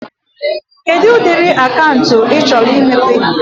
Kedụ ụdịrị akaụntụ ị chọrọ imepe?